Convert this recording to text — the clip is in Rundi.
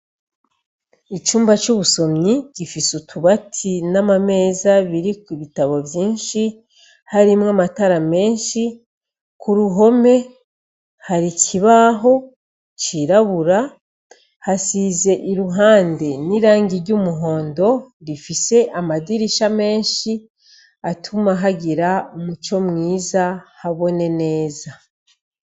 Icumba c'ubusomyi gifise utubati n'amameza biriko ibitabo vyinshi harimwo amatara menshi, ku ruhome hari ikibaho cirabura hasize iruhande n'irangi ry'umuhondo rifise amadirisha menshi atuma hagira umuco mwiza habona neza.